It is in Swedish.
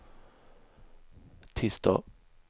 tisdag